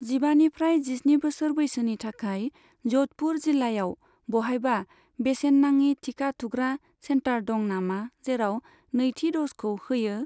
जिबानिफ्राय जिस्नि बोसोर बैसोनि थाखाय जधपुर जिल्लायाव बहायबा बेसेन नाङि टिका थुग्रा सेन्टार दं नामा जेराव नैथि द'जखौ होयो?